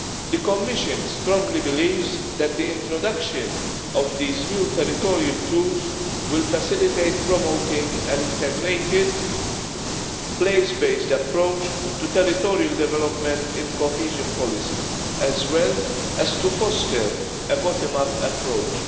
The Commission strongly believes that the introduction of these new territorial tools will facilitate promoting an integrated place based approach to territorial development in cohesion policy as well as to foster a bottom up approach.